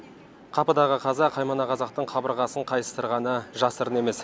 қапыдағы қаза қаймана қазақтың қабырғасын қайыстырғаны жасырын емес